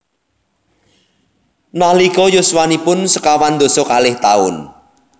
Nalika yuswanipun sekawan dasa kalih taun